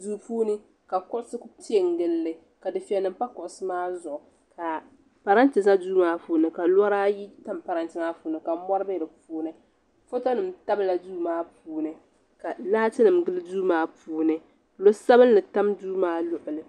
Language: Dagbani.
Duu puuni ka kuɣusi Ku piɛ n gilli ka difiɛya nima pa kuɣusi maa zuɣu ka parante za duu maa puuni ka lɔri ayi tam parante maa puuni ka mɔri bɛ di puuni foto nima tabila duu maa puuni ka laati nima gili duu maa puuni noo sabinli tam duu maa luɣuli.